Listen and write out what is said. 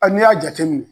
A n'i y'a jateminɛ